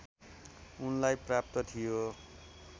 उनलाई प्राप्त थियो